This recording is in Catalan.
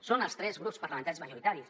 són els tres grups parlamentaris majoritaris